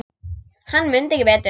Hann mundi ekki betur!